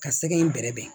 Ka sɛgɛn in bɛrɛb